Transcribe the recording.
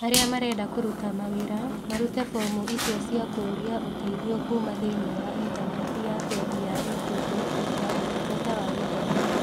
Arĩa marenda kũruta mawĩra marute fomu icio cia kũũria ũteithio kuuma thĩinĩ wa Intaneti ya Bengi ya Equity na Ũtungata wa Gĩthomo.